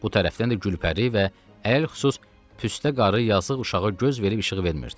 Bu tərəfdən də Gülpəri və əlhüsus Püstə qarı yazıq uşağa göz verib işıq vermirdi.